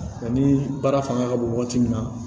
Ani baara fanga ka bon wagati min na